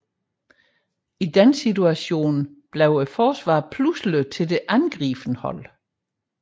I den situation bliver forsvaret pludselig til det angribende hold